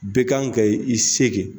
Be kan ka i se kɛ.